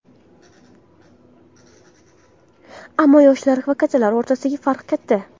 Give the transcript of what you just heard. Ammo yoshlar va kattalar o‘rtasida farq katta.